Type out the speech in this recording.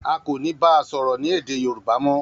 A ko ni ba A soro ni ede Yoruba mo.